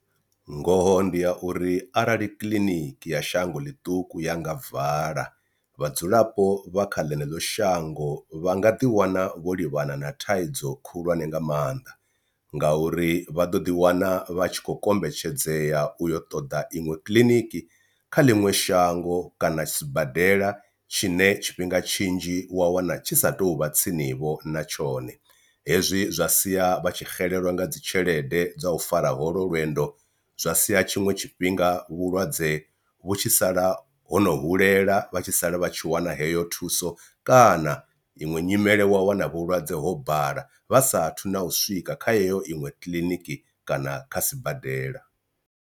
Ngoho ndi ya uri arali kiḽiniki ya shango ḽiṱuku ya nga vala vhadzulapo vha kha ḽeneḽo shango vha nga ḓiwana vho livhana na thaidzo khulwane nga maanḓa ngauri vha ḓo ḓi wana vha tshi khou kombetshedzea uyo ṱoḓa iṅwe kiḽiniki kha ḽiṅwe shango kana sibadela tshine tshifhinga tshinzhi wa wana tshi sa tou vha tsini vho na tshone. Hezwi zwa sia vha tshi xelelwa nga dzi tshelede dza u fara holo lwendo zwa sia tshiṅwe tshifhinga vhulwadze vhu tshi sala hono hulela vha tshi sala vha tshi wana heyo thuso, kana iṅwe nyimele wa wana vhulwadze ho bala vha sathu na u swika kha heyo iṅwe kiḽiniki kana kha sibadela.